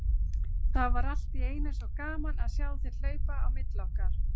Það var allt í einu svo gaman að sjá þig hlaupa á milli okkar.